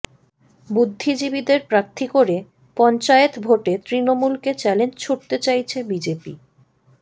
বুদ্ধিজীবীদের প্রার্থী করে পঞ্চায়েত ভোটে তৃণমূলকে চ্যালেঞ্জ ছুড়তে চাইছে বিজেপি